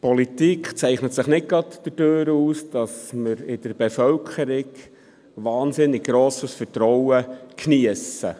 Politik zeichnet sich nicht gerade dadurch aus, dass wir in der Bevölkerung ein wahnsinnig grosses Vertrauen geniesst.